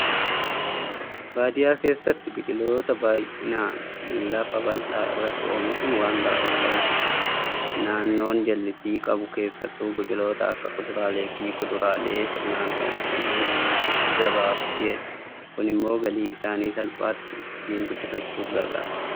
Baadiyyaa keessatti biqiloota baay'inaan lafa bal'aa irratti oomishuun waan baramaa ta'edha. Naannoon jallisii qabu keessattuu biqiloota akka fuduraalee fi kuduraalee sirnaan oomishanii gabaaf dhiyeessu. Kunimmoo galii isaanii salphaatti ittiin guddifachuuf gargaara.